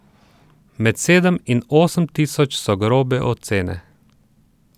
Med sedem in osem tisoč, so grobe ocene.